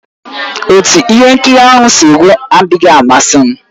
Otú ihe nkiri ahụ si gwụ adịghị amasị m